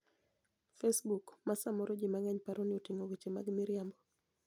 Facebook, ma samoro ji mang'eny paro ni oting'o weche mag miriambo,